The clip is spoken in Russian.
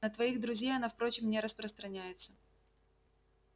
на твоих друзей она впрочем не распространяется